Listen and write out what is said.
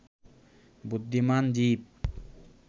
বুদ্ধিমান জীব